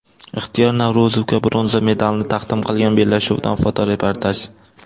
Ixtiyor Navro‘zovga bronza medalni taqdim qilgan bellashuvdan fotoreportaj.